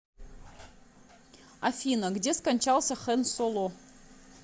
афина где скончался хэн соло